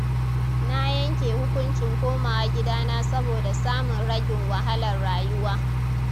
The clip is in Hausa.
Na yanke hukunci komawa gidana saboda samun ragin wahalar rayuwa